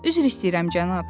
Üzr istəyirəm, cənab.